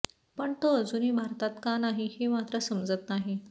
पण तो अजूनही भारतात का नाही हे मात्र समजत नाही